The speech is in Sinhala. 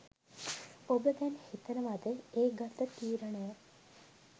ඔබ දැන් හිතනවද ඒ ගත්ත තීරණය